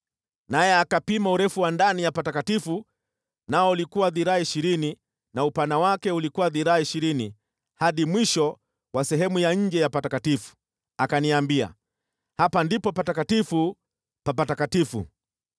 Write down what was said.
Naye akapima urefu wa sehemu takatifu ndani, nao ulikuwa dhiraa ishirini, na upana wake ulikuwa dhiraa ishirini hadi mwisho wa sehemu ya nje ya sehemu takatifu. Akaniambia, “Hapa ndipo Patakatifu pa Patakatifu.”